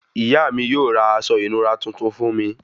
Ìyá mí yóò ra aṣọ ìnura tuntun fún mí